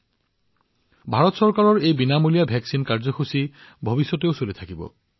মই এইটোও কব লাগিব যে ভাৰত চৰকাৰে চলাই থকা বিনামূলীয়া প্ৰতিষেধক প্ৰদান কাৰ্যসূচী অব্যাহত থাকিব